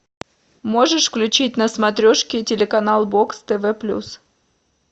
можешь включить на смотрешке телеканал бокс тв плюс